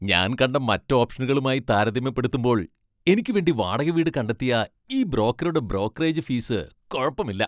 ഞാൻ കണ്ട മറ്റ് ഓപ്ഷനുകളുമായി താരതമ്യപ്പെടുത്തുമ്പോൾ എനിക്ക് വേണ്ടി വാടക വീട് കണ്ടെത്തിയ ഈ ബ്രോക്കറുടെ ബ്രോക്കറേജ് ഫീസ് കുഴപ്പമില്ല.